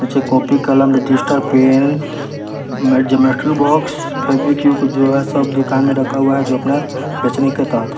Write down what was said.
नीचे कॉपी कलम register pen में ज्योमेट्री बॉक्स फेवीक्विक जो है सब दुकान में रखा हुआ है जो अपना बचने का--